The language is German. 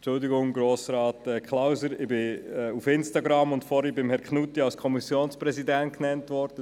Entschuldigen Sie, Grossrat Klauser, ich bin auf Instagram und vorhin von Grossrat Knutti als Kommissionspräsident bezeichnet worden.